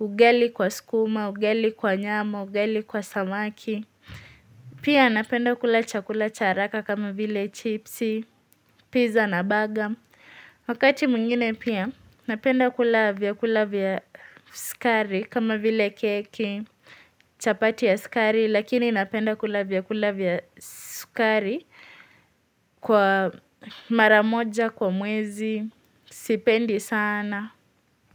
ugali kwa sukuma ugali kwa nyama ugali kwa samaki. Pia napenda kula chakula cha haraka kama vile chipsi, pizza na baga. Wakati mwingine pia napenda kula vya kula vya skari kama vile keki, chapati ya skari. Lakini napenda kula vyakula vya sukari kwa maramoja, kwa muezi, sipendi sana.